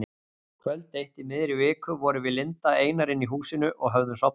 Kvöld eitt í miðri viku vorum við Linda einar inni í húsinu og höfðum sofnað.